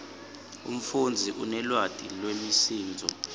umfundzi unelwati lwemisindvo